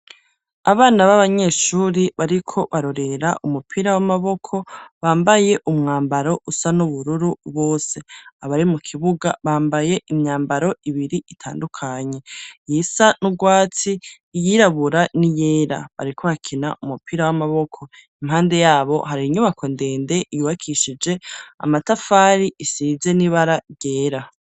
Abana babanyeshuri bariko barorera umupira w'amaboko bambaye umwambaro usa n'ubururu bose, abari mu kibuga bambaye imyambaro ibiri itandukanye, iyisa n'urwatsi iyirabura n'iyera, bariko bakina umupira w'amaboko impande yabo hari inyubako ndende yubakishije amatafari isize n'ibara ryera.